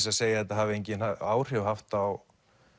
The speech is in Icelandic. að segja að þetta hafi engin áhrif haft á